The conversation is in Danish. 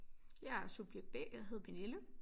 Jeg er subjekt B jeg hedder Pernille